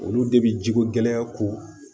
Olu de bi jiko gɛlɛya ko